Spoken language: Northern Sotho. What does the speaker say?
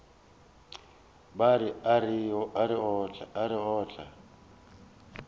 ba a re o tla